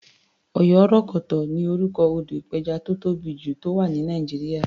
Oyorokoto ni orúkọ odò ìpẹjà tó tóbì jù, tó wà ní Nàìjíríà.